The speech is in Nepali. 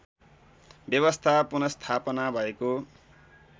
व्यवस्था पुनस्थापना भएको